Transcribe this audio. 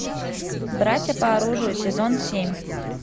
братья по оружию сезон семь